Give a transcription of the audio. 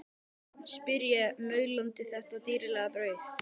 spyr ég, maulandi þetta dýrlega brauð.